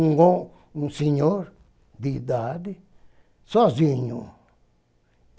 Um senhor de idade, sozinho.